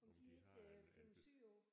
Om de ikke flyver sydpå